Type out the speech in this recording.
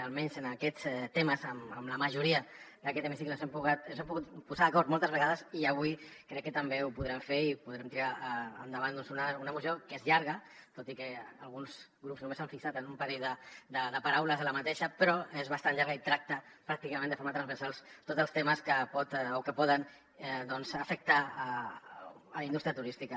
almenys en aquests temes amb la majoria d’aquest hemicicle ens hem pogut posar d’acord moltes vegades i avui crec que també ho podrem fer i podrem tirar endavant doncs una moció que és llarga tot i que alguns grups només s’han fixat en un parell de paraules d’aquesta però és bastant llarga i tracta pràcticament de forma transversal tots els temes que poden afectar la indústria turística